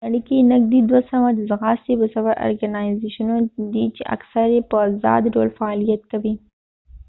په نړی کې نږدې دوه سوه د ځغاستې د سفر ارکنایزیشنونه دي چې اکثر یې به ازاد ډول فعالیت کوي